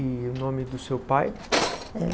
E o nome do seu pai?